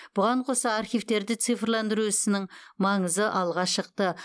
бұған қоса архивтерді цифрландыру ісінің маңызы алға шықты